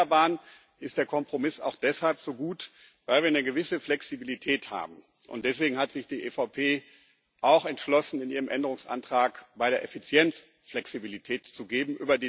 Bei den Erneuerbaren ist der Kompromiss auch deshalb so gut, weil wir eine gewisse Flexibilität haben, und deswegen hat sich die EVP auch entschlossen, in ihrem Änderungsantrag bei der Effizienz Flexibilität zu geben.